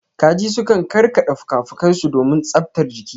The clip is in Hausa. Kaji sukan karkada fuka-fukai su domin tsabtar jiki.